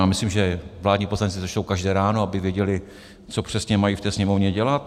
Já myslím, že vládní poslanci to čtou každé ráno, aby věděli, co přesně mají v té Sněmovně dělat.